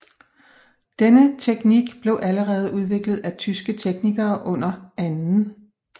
Denne teknik blev allerede udviklet af tyske teknikere under 2